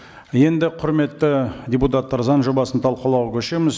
енді құрметті депутаттар заң жобасын талқылауға көшеміз